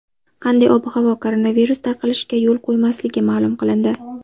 Qanday ob-havo koronavirus tarqalishiga yo‘l qo‘ymasligi ma’lum qilindi.